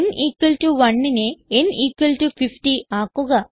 n 1നെ n 50 ആക്കുക